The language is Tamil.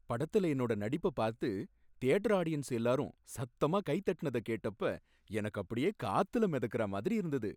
படத்துல என்னோட நடிப்ப பார்த்து தியேட்டர் ஆடியன்ஸ் எல்லாரும் சத்தமா கைதட்டுனத கேட்டப்ப எனக்கு அப்படியே காத்துல மிதக்கற மாதிரி இருந்தது.